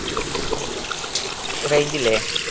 range ഇല്ലേ